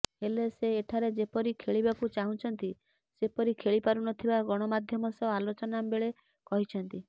ହେଲେ ସେ ଏଠାରେ ଯେପରି ଖେଳିବାକୁ ଚାହୁଁଛନ୍ତି ସେପରି ଖେଳିପାରୁନଥିବା ଗଣମାଧ୍ୟମ ସହ ଆଲୋଚନା ବେଳେ କହିଛନ୍ତି